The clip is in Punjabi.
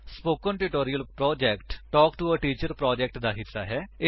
spoken tutorial project talk to a teacher project ਦਾ ਹਿੱਸਾ ਹੈ